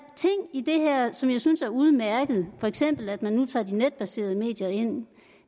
i det her som jeg synes er udmærket for eksempel at man nu tager de netbaserede medier ind